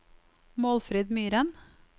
Målfrid Myren